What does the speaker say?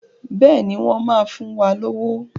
Bẹ́ẹ̀ni, wọ́n máa fún wa lówó.